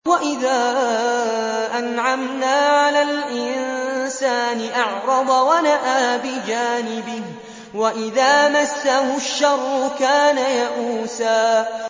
وَإِذَا أَنْعَمْنَا عَلَى الْإِنسَانِ أَعْرَضَ وَنَأَىٰ بِجَانِبِهِ ۖ وَإِذَا مَسَّهُ الشَّرُّ كَانَ يَئُوسًا